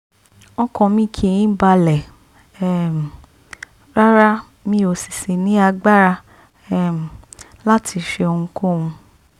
ọkàn mi kì í balẹ̀ um rárá mi ò sì sì ní agbára um láti ṣe ohunkóhun